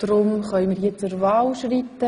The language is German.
Somit können wir zur Wahl schreiten.